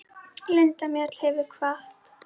Linda Mjöll hefur kvatt.